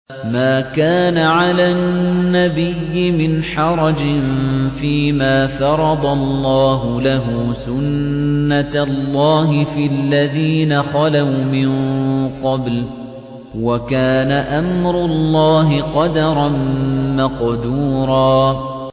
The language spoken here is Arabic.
مَّا كَانَ عَلَى النَّبِيِّ مِنْ حَرَجٍ فِيمَا فَرَضَ اللَّهُ لَهُ ۖ سُنَّةَ اللَّهِ فِي الَّذِينَ خَلَوْا مِن قَبْلُ ۚ وَكَانَ أَمْرُ اللَّهِ قَدَرًا مَّقْدُورًا